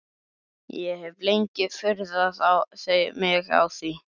Ég hef lengi furðað mig á því.